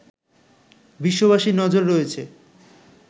বিশ্ববাসীর নজর রয়েছে